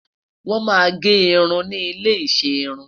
wọn má gé irún ní ilè iṣẹ irun